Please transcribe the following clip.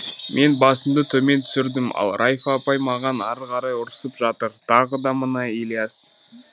мен басымды төмен түсірдім ал райфа апай маған ары қарай ұрсып жатыр тағы да мына ілияс